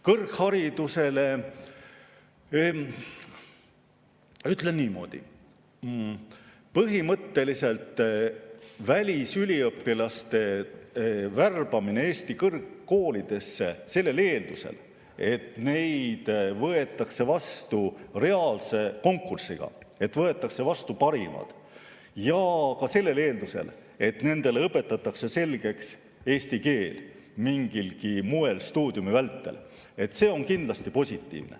Kõrghariduse kohta ütlen niimoodi, et põhimõtteliselt on välisüliõpilaste värbamine Eesti kõrgkoolidesse, sellel eeldusel, et neid võetakse vastu reaalse konkursiga ja võetakse vastu parimad, ja ka sellel eeldusel, et neile õpetatakse stuudiumi vältel mingilgi moel selgeks eesti keel, kindlasti positiivne.